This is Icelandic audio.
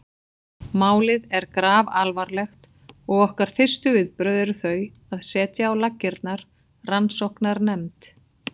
Málið er grafalvarlegt og okkar fyrstu viðbrögð eru þau að setja á laggirnar rannsóknarnefnd.